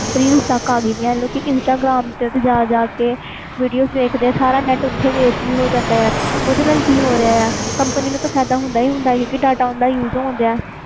reels ਤਕ ਆ ਗਈਆਂ instagram ਤੇ ਜਾ ਜਾ ਕੇ ਵੀਡੀਓ ਦੇਖ ਦੇ ਆ ਓਥੇ ਸਾਰਾ net ਖਤਮ ਵੀ ਹੋ ਜਾਂਦਾ ਆ ਓਹਦੇ ਨਾਲ ਕਿ ਹੋਰ ਰਿਹਾ ਆ ਕੰਪਨੀ ਫਾਇਦਾ ਹੁੰਦਾ ਹੀ ਹੁੰਦਾ ਆ data use ਹੋ ਰਿਹਾ ਆ